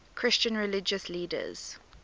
christian religious leaders